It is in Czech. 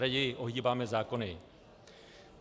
Raději ohýbáme zákony.